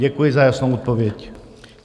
Děkuji za jasnou odpověď.